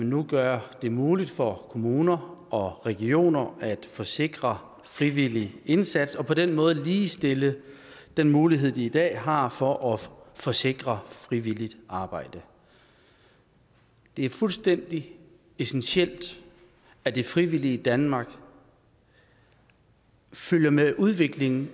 nu gør det muligt for kommuner og regioner at forsikre frivillig indsats og på den måde ligestille den mulighed de i dag har for at forsikre frivilligt arbejde det er fuldstændig essentielt at det frivillige danmark følger med udviklingen